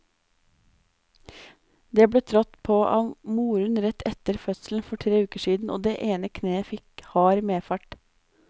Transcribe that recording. Det ble trådt på av moren rett etter fødselen for tre uker siden, og det ene kneet fikk hard medfart.